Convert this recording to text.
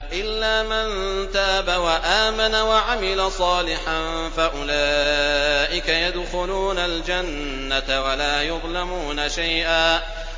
إِلَّا مَن تَابَ وَآمَنَ وَعَمِلَ صَالِحًا فَأُولَٰئِكَ يَدْخُلُونَ الْجَنَّةَ وَلَا يُظْلَمُونَ شَيْئًا